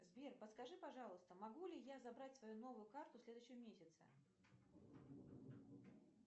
сбер подскажи пожалуйста могу ли я забрать свою новую карту в следующем месяце